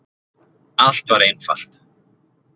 Allt var einfalt!